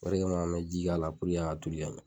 O re kama an mi ji ka la a ka toli ka ɲa